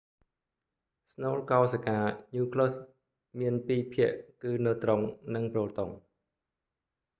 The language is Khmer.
ស្នូលកោសិកា nucleus មានពីរភាគគឺណឺត្រុងនិងប្រូតុង